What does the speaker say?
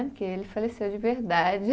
Porque ele faleceu de verdade.